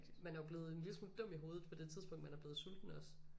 Man er jo blevet en lille smule dum i hovedet på det tidspunkt man er blevet sulten også